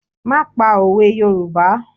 Máà pa òwe Yorùbá!